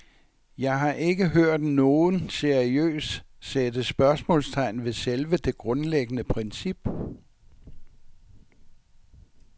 Jeg har ikke hørt nogen seriøst sætte spørgsmålstegn ved selve det grundlæggende princip.